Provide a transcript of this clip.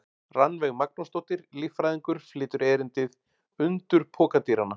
Rannveig Magnúsdóttir, líffræðingur, flytur erindið: Undur pokadýranna.